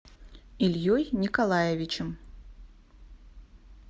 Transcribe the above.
ильей николаевичем